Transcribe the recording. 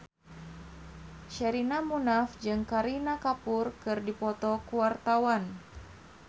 Sherina Munaf jeung Kareena Kapoor keur dipoto ku wartawan